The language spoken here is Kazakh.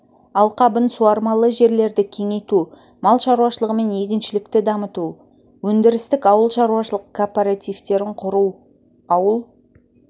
алқабын суармалы жерлерді кеңейту мал шаруашылығы мен егіншілікті дамыту өндірістік ауыл шаруашылық кооперативтерін құру ауыл